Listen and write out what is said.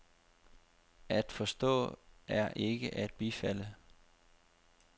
At forstå er ikke at bifalde.